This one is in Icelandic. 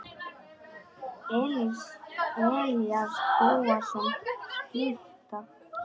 Elías Bóasson skytta.